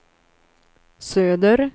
söder